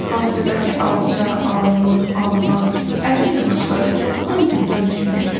Bağçadakı alça, armud, alma, ərik ağacları çoxdan güldən düşmüşdü.